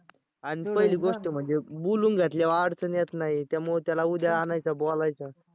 आणि पहिली गोष्ट म्हणजे बोलून घेतल्यावर अडचण येत नाही त्यामुळं त्याला उद्या आणायचा बोलायचं.